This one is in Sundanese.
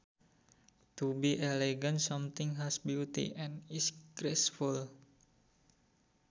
To be elegant something has beauty and is graceful